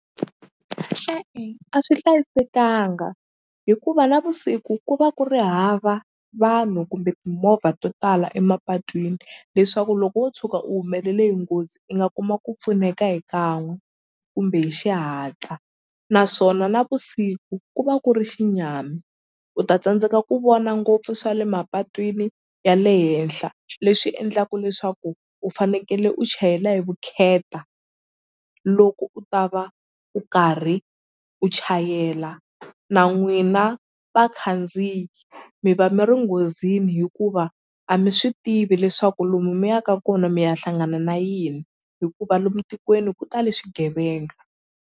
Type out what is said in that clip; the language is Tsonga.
E-e a swi hlayisekanga hikuva navusiku ku va ku ri hava vanhu kumbe timovha to tala emapatwini leswaku loko wo tshuka u humelele hi nghozi i nga kuma ku pfuneka hi kan'we kumbe hi xihatla naswona navusiku ku va ku ri xinyami u ta tsandzeka ku vona ngopfu swa le mapatwini ya le henhla leswi endlaku leswaku u fanekele u chayela hi vukheta loko u ta va u karhi u chayela na n'wina vakhandziyi mi va mi ri nghozini hikuva a mi swi tivi leswaku lomu mi yaka kona mi ya hlangana na yini hikuva lomu tikweni ku tale swigevenga.